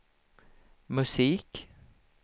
musik